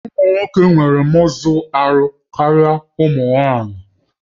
Ụmụ nwoke nwere mọzụ ahụ karịa ụmụ nwanyị